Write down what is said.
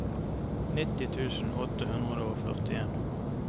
nitti tusen åtte hundre og førtien